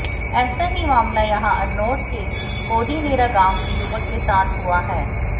ऐसा ही मामला यहां अरनोद के कोदिनेरा गांव के युवक के साथ हुआ है